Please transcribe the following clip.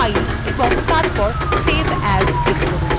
file এবং তারপর save as click করুন